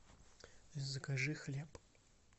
закажи хлеб